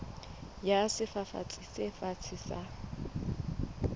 ya sefafatsi se fatshe sa